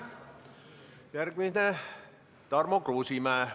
Järgmine on Tarmo Kruusimäe.